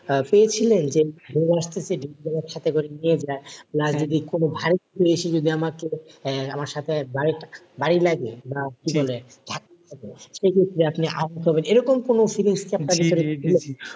আহ পেয়েছিলেন যে ঢেউ আসতেছে ঢেউ যদি আমাকে সাথে করে নিয়ে যায় বা যদি কোন ভারি কিছু এসে যদি আমাকে আহ আমার সাথে বারি বারি লাগে বা ধাক্কা তে সে ক্ষেত্রে আপনি আহত হন এরকম কোন feelings